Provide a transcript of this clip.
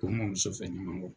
U mɔmuso fɛ ɲamankɔ